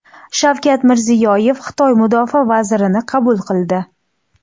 Shavkat Mirziyoyev Xitoy mudofaa vazirini qabul qildi.